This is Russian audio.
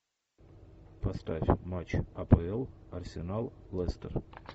поставь матч апл арсенал лестер